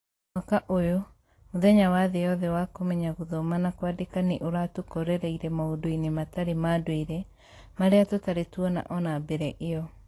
Mwaka ũyũ, mũthenya wa thĩ yothe wa kũmenya gũthoma na kwandĩka nĩ ũratũkorereire maũndũ-inĩ matarĩ ma ndũire marĩa tũtarĩ tuona ona mbere ĩyo.